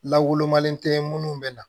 Lagolomalen tɛ minnu bɛ na